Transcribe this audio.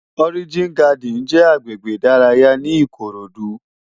Òrijín Gádìn jè àgbégbé idàráyá ni Ikorodu